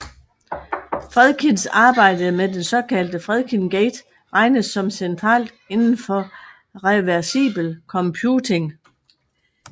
Fredkins arbejde med den såkaldte Fredkin Gate regnes som centralt inden for reversibel computing